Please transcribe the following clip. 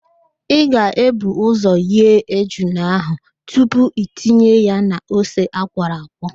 Ị ga-ebu ụzọ ghee ejula ahụ tupu itinye ya n'ose akwọrọ akwọ